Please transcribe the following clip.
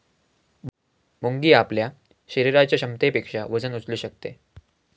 मुंगी आपल्या शरीराच्या क्षमतेपेक्षा वजन उचलू शकते